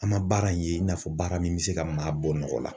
An ma baara in ye i n'a fɔ baara min bɛ se ka maa bɔ nɔgɔ la.